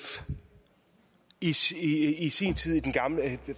i i sin tid